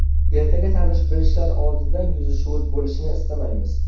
Ertaga tanish-bilishlar oldida yuzi shuvut bo‘lishini istamaymiz.